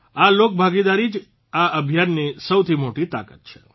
આ લોકભાગીદારી જ આ અભિયાનની સૌથી મોટી તાકાત છે